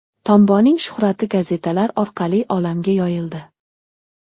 Tomboning shuhrati gazetalar orqali olamga yoyildi.